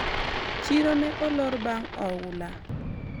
chiro ne olor bang' ofula